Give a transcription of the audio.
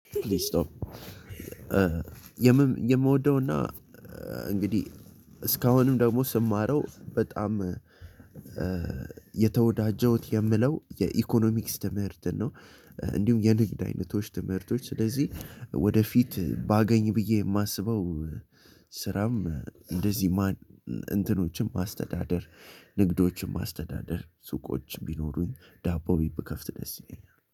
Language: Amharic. የምወደውና እንግዲህ እስካሁንም ደግሞ ስማረው በጣም የተወዳጀውት የምለው የኢኮኖሚክስ ትምህርትን ነው። እንዲሁም የንግድ አይነቶች ትምህርቶች ስለዚህ ወደፊት ባገኝ ብዬ የማስበው ስራም እንደዚህ እንትኖችን ማስተዳደር ንግዶችም ማስተዳደር ሱቆች ቢኖሩኝ ዳቦ ቤት ብከፍት ደስ ይለኛል